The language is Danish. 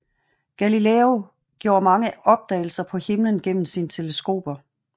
Galileo gjorde mange opdagelser på himlen gennem sine teleskoper